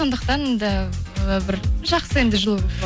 сондықтан да і бір жақсы енді жыл